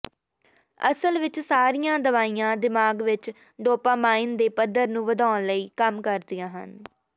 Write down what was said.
ਅਸਲ ਵਿਚ ਸਾਰੀਆਂ ਦਵਾਈਆਂ ਦਿਮਾਗ ਵਿਚ ਡੋਪਾਮਾਈਨ ਦੇ ਪੱਧਰ ਨੂੰ ਵਧਾਉਣ ਲਈ ਕੰਮ ਕਰਦੀਆਂ ਹਨ